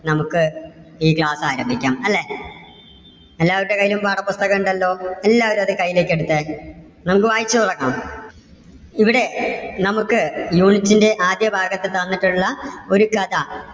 നമുക്ക് ഈ class ആരംഭിക്കാം അല്ലേ എല്ലാവരുടെയും കൈയില് പാഠപുസ്തകം ഉണ്ടല്ലോ? എല്ലാവരും അത് കയ്യിലേക്ക് എടുത്തേ, നമുക്ക് വായിച്ചു തുടങ്ങാം. ഇവിടെ നമുക്ക് unit ന്‍ടെ ആദ്യ ഭാഗത്ത് തന്നിട്ടുള്ള ഒരു കഥ,